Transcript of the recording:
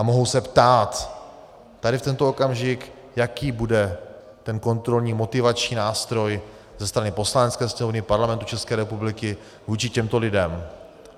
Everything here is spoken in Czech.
A mohou se ptát tady, v tento okamžik, jaký bude ten kontrolní, motivační nástroj ze strany Poslanecké sněmovny Parlamentu České republiky vůči těmto lidem.